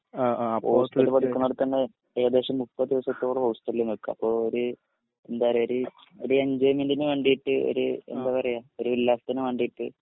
ഹോസ്ടൽപ്പടിക്കണോടതഞ്ഞേ ഏകദേശം മുപ്പത്ദിവസത്തോളം ഹോസ്ടൽനിക്ക അപ്പൊ ഒര് എന്താ പറയാ ഒര് എന്ജോയ്മെന്റിന് വേണ്ടിട്ട് ഒര് എന്ത പറയാ ഒരു ഉല്ലാസത്തിന് വേണ്ടിട്ട്